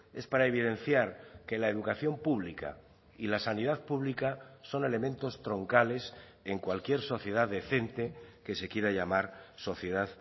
es para evidenciar que la educación pública y la sanidad pública son elementos troncales en cualquier sociedad decente que se quiera llamar sociedad